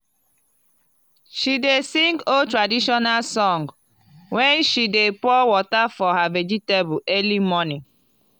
she dey sing old traditional song when she dey pour water for her vegetable early morning.